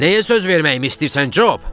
Nəyə söz verməyimi istəyirsən, Job?